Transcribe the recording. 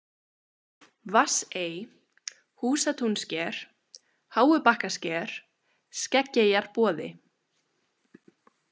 Vatnsey, Húsatúnssker, Háubakkasker, Skeggeyjarboði